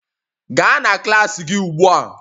Gaa na klas gị ugbu a